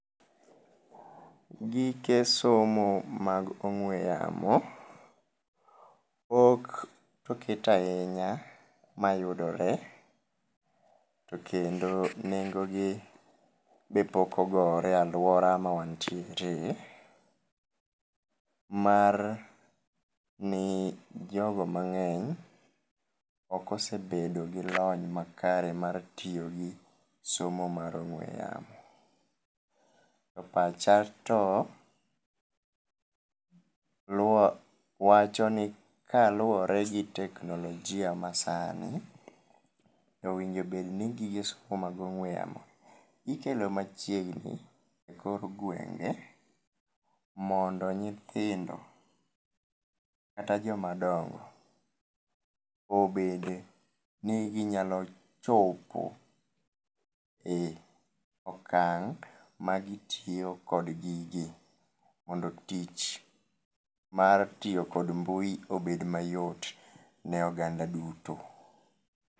Gike somo mag ong'we yamo pok oket ahinya mayudore to kendo nengogi be pok ogore e aluora ma wan tiere mar ni jogo mangeny ok osebedo gi lony makare mar tiyo gi ong'we yamo. To pacha to wachoni kaluore gi teknolojia masani owinjo obed ni gige somo mag ong'we yamo gi ikelo machiegni e kor gwenge mondo nyithindo kata joma dongo obede ni nyalo chopo e okang ma gitiyo kod gigi mondo tich mar tiyo kod mbui obed mayot ne ogand aduto